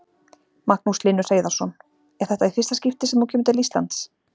Magnús Hlynur Hreiðarsson: Er þetta í fyrsta skipti sem þú kemur til Íslands?